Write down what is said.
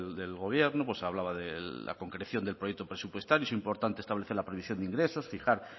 del gobierno pues hablaba de la concreción del proyecto presupuestario es importante establecer la previsión de ingresos fijar